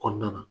Kɔnɔna na